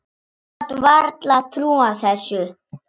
Hann gat varla trúað þessu.